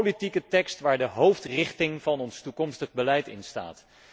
Een politieke tekst waar de hoofdrichting van ons toekomstig beleid in staat.